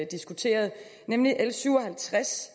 diskuteret nemlig l syv og halvtreds